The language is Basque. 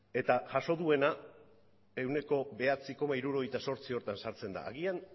eta jaso duena ehuneko bederatzi koma hirurogeita zortzi horretan sartzen da agian